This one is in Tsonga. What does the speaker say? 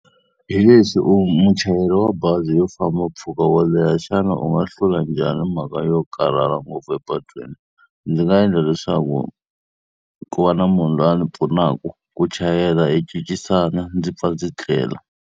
Hi leswi u muchayeri wa bazi yo famba mpfuka wo leha, xana u nga hlula njhani mhaka yo karhala ngopfu epatwini? Ndzi nga endla leswaku ku va na munhu loyi a ni pfunaka ku chayela hi cincisana, ndzi pfa ndzi tlela.